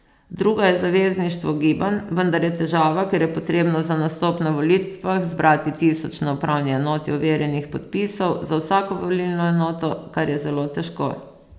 Druga je zavezništvo gibanj, vendar je težava, ker je potrebno za nastop na volitvah zbrati tisoč na upravni enoti overjenih podpisov za vsako volilno enoto, kar je zelo težko.